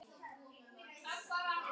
Var þetta kveðjustundin?